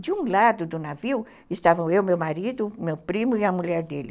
De um lado do navio estavam eu, meu marido, meu primo e a mulher dele.